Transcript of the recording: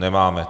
Nemáme.